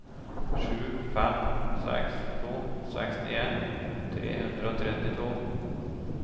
sju fem seks to sekstien tre hundre og trettito